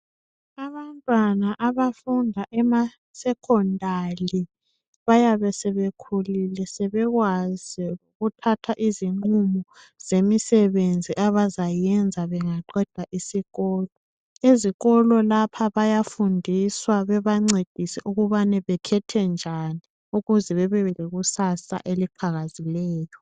Abantwana abafunda emasekhondali bayabe sebekhulile, sebekwazi ukuthatha izinqumo zemisebenzi abazayenza bengaqeda isikolo. Ezikolo lapha bayafundiswa bebancedise ukubana bekhethe njani ukuze bebe lekusasa eliqhakazileyo.